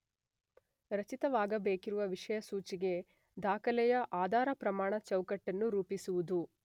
ರಚಿತವಾಗಬೇಕಿರುವ ವಿಷಯಸೂಚಿಗೆ ದಾಖಲೆಯ ಆಧಾರ ಪ್ರಮಾಣ ಚೌಕಟ್ಟನ್ನು ರೂಪಿಸುವುದು.